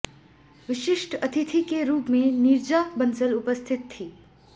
विशिष्ठ अतिथि के रुप में नीरजा बंसल उपस्थित थी